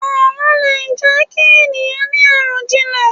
Àlọ́ lè jẹ ki ènìyàn ni arọjinlẹ